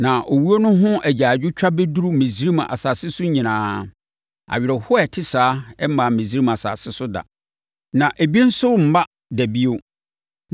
Na owuo no ho agyaadwotwa bɛduru Misraim asase so nyinaa. Awerɛhoɔ a ɛte saa mmaa Misraim asase so da, na ebi nso remma da bio.